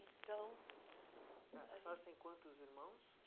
Então... A senhora tem quantos irmãos?